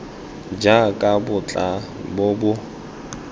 jaaka bo tla bo bo